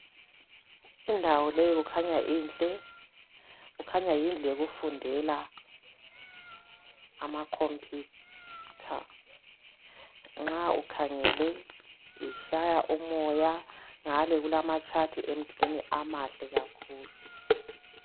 Indawo leyi kukhanya inhle kukhanya yindlu yokufundela amakhompitha nxa ukhangele itshaya umoya ngale kulamatshati emdulini amahle kakhulu